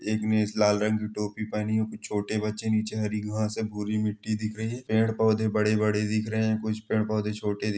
एक लाल रंग की टोपी पहनी है कुछ छोटे बच्चे नीचे हरी घास है भूरी मिटटी दिख रही है पेड़ पौधे बड़े- बड़े दिख रहे है कुछ पेड़ -पौधे छोटे--